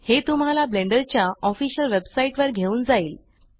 हे तुम्हाला ब्लेण्डर च्या ऑफीशियल वेब साईट वर घेऊन जाइल